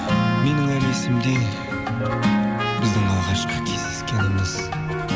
менің әлі есімде біздің алғашқы кездескеніміз